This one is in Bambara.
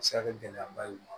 A bɛ se ka kɛ gɛlɛyaba ye